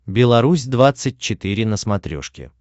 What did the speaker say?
беларусь двадцать четыре на смотрешке